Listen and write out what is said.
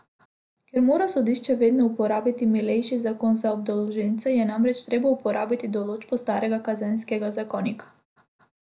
Ker mora sodišče vedno uporabiti milejši zakon za obdolženca, je namreč treba uporabiti določbo starega kazenskega zakonika.